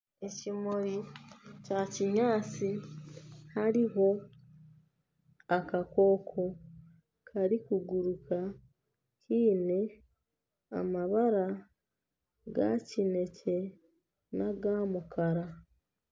Ekimuri kya kinyaatsi hariho akakooko karikuguruka kaine amabara ga kinekye n'aga mukara